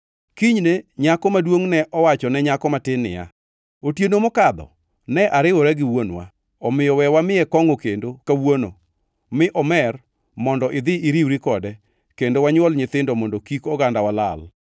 Kinyne nyako maduongʼ ne owacho ne nyako matin niya, “Otieno mokadho ne ariwora gi wuonwa. Omiyo we wamiye kongʼo kendo kawuono mi omer mondo idhi iriwri kode kendo wanywol nyithindo mondo kik ogandawa lal.”